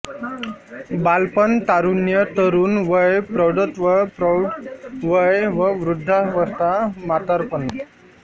बालपण तारुण्य तरुण वय प्रौढत्व प्रौढ वय व वृद्धावस्था म्हातारपण